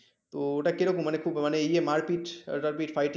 তো ওটা কি রকম খুব মানে ইয়া মারপিট fighting